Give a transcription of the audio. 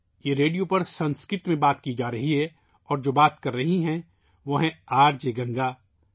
یہ ریڈیو پر سنسکرت میں بات کی جا رہی ہے اور جو بات کر رہی ہیں ، وہ آر جے گنگا ہیں